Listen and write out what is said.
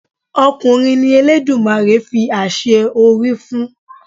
Ọkùnrin ni Eledumare fi àṣẹ orí fún.